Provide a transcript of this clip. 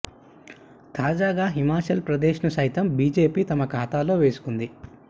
తాజాగా హిమాచల్ ప్రదేశ్ ను సైతం బీజేపీ తమ ఖాతాలో వేసుకుంది